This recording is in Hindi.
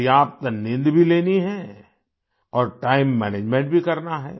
पर्याप्त नींद भी लेनी है और टाइम मैनेजमेंट भी करना है